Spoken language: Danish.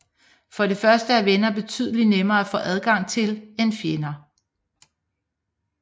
For det første er venner betydeligt nemmere at få adgang til end fjender